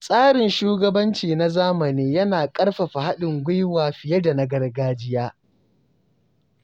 Tsarin shugabanci na zamani yana ƙarfafa haɗin gwiwa fiye da na gargajiya.